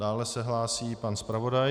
Dále se hlásí pan zpravodaj.